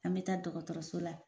An bɛ taa dɔgɔtɔrɔso la